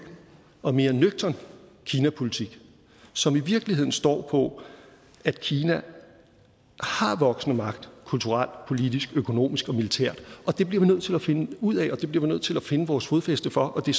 og mere nøgtern kinapolitik som i virkeligheden står på at kina har voksende magt kulturelt politisk økonomisk og militært og det bliver vi nødt til at finde ud af og det bliver vi nødt til at finde vores fodfæste for det